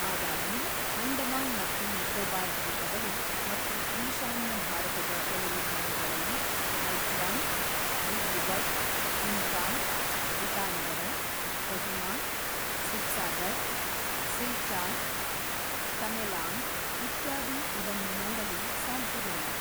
ಆದಾಗ್ಯೂ, ಅಂಡಮಾನ್ ಮತ್ತು ನಿಕೋಬಾರ್ ದ್ವೀಪಗಳು ಮತ್ತು ಈಶಾನ್ಯ ಭಾರತದ ಕೆಲವು ಭಾಗಗಳಲ್ಲಿ ಐಜ್ವಾಲ್, ದಿಬ್ರುಗಢ್, ಇಂಫಾಲ್, ಇಟಾನಗರ, ಕೊಹಿಮಾ, ಸಿಬ್ಸಾಗರ್, ಸಿಲ್ಚಾರ್, ತಮೆಲಾಂಗ್ ಇತ್ಯಾದಿ ಇದನ್ನು ನೋಡಲು ಸಾಧ್ಯವಿಲ್ಲ.